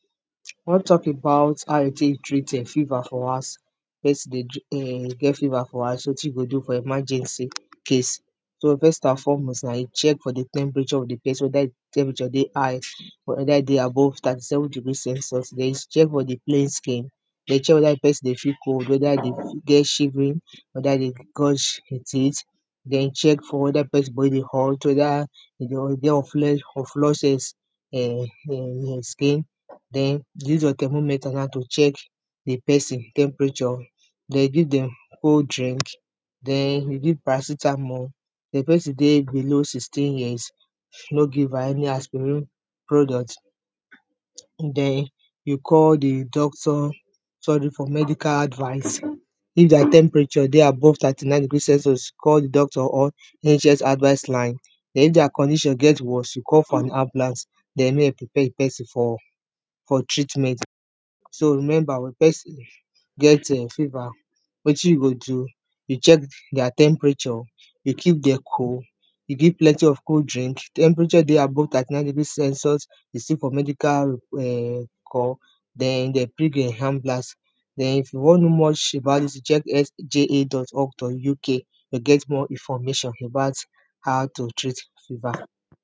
We wan talk about how you go take treat fever for house, if pesin dey get fever for house wetin you go do for emergency case. So first and fore most you check for di temperature of di person whether di temperature dey high or whether e dey above thirty seven degree census den you check for di plain skin, dey check whether di pesin dey feel cold whether e get shiffery, whether e dey gush im teeth, den check for whether di pesin body dey hot, whether e dey of [2] of skin dem you use your thermometer now to check di pesin temperature, dem you give dem cold drink, den you give paracetamol, if di person dey below sixteen years no give am any aspiring product, den you call di doctor for medical advice if dia temperature dey above thirty nine degree census called di doctor or agents advice line den if dia condition get worst you call for an ambulance den make dem prepare di pesin for treatment. So remember wen pesin get fever wetin you go do you check dia temperature, you keep dem cold you give dem plenty of cold drink, temperature dey above thirty nine degree census you seek for medical call den dey drink ambulance, you wan know much about dis check sja.org.uk to get more information about how to treat fever.